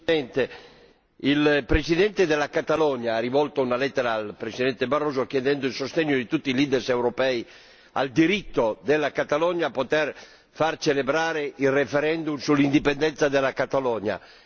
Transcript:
Signor Presidente, onorevoli colleghi, il Presidente della Catalogna ha rivolto una lettera al presidente Barroso, chiedendo il sostegno di tutti i leader europei al diritto della Catalogna a poter far celebrare il referendum sull'indipendenza della Catalogna.